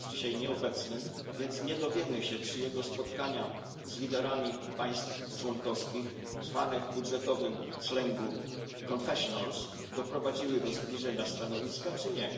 Jest dzisiaj nieobecny, więc nie dowiemy się, czy jego spotkania z liderami państw członkowskich, zwane w budżetowym slangu confessionals, doprowadziły do zbliżenia stanowiska czy nie.